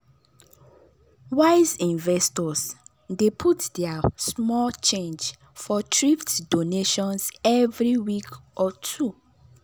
wise investors dey put their small change for thrift donations every week or two.